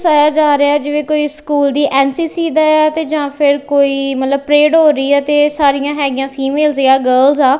ਚਾਇਆ ਜਾ ਰਿਹਾ ਐ ਜਿਵੇਂ ਕੋਈ ਸਕੂਲ ਦੀ ਐਨ_ਸੀ_ਸੀ ਦਾ ਤੇ ਜਾਂ ਫਿਰ ਕੋਈ ਮਤਲਬ ਪਰੇਡ ਹੋ ਰਹੀ ਐ ਤੇ ਸਾਰੀਆਂ ਹੈਗੀਆਂ ਫੀਮੇਲਸ ਏ ਆ ਗਰਲਸ ਆ।